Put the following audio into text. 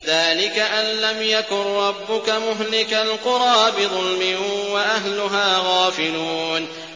ذَٰلِكَ أَن لَّمْ يَكُن رَّبُّكَ مُهْلِكَ الْقُرَىٰ بِظُلْمٍ وَأَهْلُهَا غَافِلُونَ